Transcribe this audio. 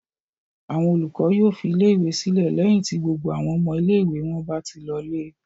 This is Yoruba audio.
Àwọn olùkọ́ yóò fi ilé-ìwé sílẹ̀ lẹ́yìn tí gbogbo àwọn ọmọ ilé-ìwé wọn bá ti lọlé.